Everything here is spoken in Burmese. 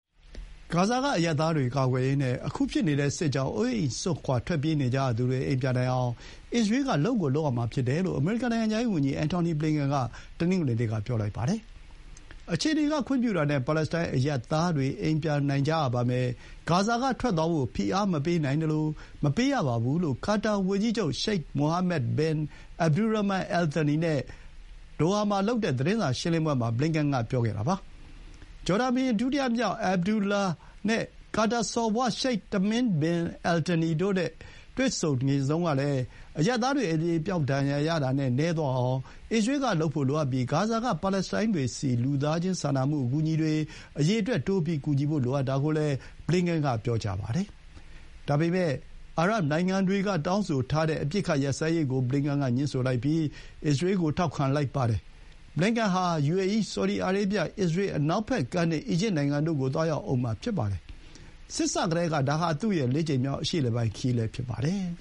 ဂါဇာကအရပ်သားတွေကိုကာကွယ်ရေးနဲ့ အခု ဖြစ်နေတဲ့စစ်ကြောင့် အိုးအိမ်စွန့်ခွါ ထွက်ပြေးနေကြရသူတွေ အိမ်ပြန်နိုင်အောင် အစ္စရေးက လုပ်ကိုလုပ်ရမှာဖြစ်တယ်လို့ အမေရိကန် နိုင်ငံခြားရေးဝန်ကြီး အန်ထော်နီ ဘလင်ကန်က တနင်္ဂနွေနေ့မှာ ပြောလိုက်ပါတယ်။ “အခြေအနေကခွင့်ပြုတာနဲ့ ပါလက်စတိုင်းအရပ်သားတွေ အိမ်ပြန်နိုင်ကြရပါမယ်။ ဂါဇာကထွက်သွားဖို့ ဖိအားမပေးနိုင်သလို မပေးရပါဘူး” လို့ ကာတာဝန်ကြီးချုပ် ရှိတ် မိုအာမက် ဘင် အက်ဘ်ဒူရာမန် အယ် သန်နီ (Sheikh Mohammed bin Abdulrahman Al Thani) နဲ့ အတူ ဒိုဟာမှာလုပ်တဲ့သတင်းစာရှင်းလင်းပွဲမှာ ဘလင်န်ကန်က ပြောခဲ့တာပါ။ ဂျော်ဒန်ဘုရင် ဒုတိယမြောက် အဘက်ဒူလာ (Abdullah II) နဲ့ ကာတာစော်ဘွား ရှိတ် တမင်းဘင် အယ်သန်နီ (Sheikh Tamim bin Hamad Al Thani) တို့နဲ့တွေ့ဆုံတုန်းကလည်း အရပ်သားတွေ အသေအပျောက်ဒဏ်ရာရတာနည်းအောင် အစ္စရေးကလုပ်ဖို့လိုအပ်ပြီး ဂါဇာက ပါလက်စတိုင်းတွေဆီ လူသားချင်းစာနာမှုအကူအညီတွေ အရေအတွက် တိုးပြီးကူညီဖို့ လိုအပ်တာကိုလည်း ဘလင်န်ကန်က ပြောပါတယ်။ ဒါပေမဲ့ အာရပ်နိုင်ငံတွေကတောင်းဆိုထားတဲ့ အပစ်အခတ်ရပ်စဲရေးကိုတော့ ဘလင်န်ကန်ကငြင်းဆိုလိုက်ပြီး အစ္စရေးကို ထောက်ခံခဲ့ပါတယ်။ ဘလင်န်ကန်ဟာ ယူအေအီး၊ ဆော်ဒီအာရေဗျ၊ အစ္စရေး၊ အနောက်ဘက်ကမ်းနဲ့ အီဂျစ်နိုင်ငံတွေဆီ သွားရောက်ဦးမှာ ဖြစ်ပါတယ်။ စစ်စကတည်းက ဒါဟာ သူ့ရဲ့လေးကြိမ်မြောက် အရှေ့အလယ်ပိုင်းခရီး ဖြစ်ပါတယ်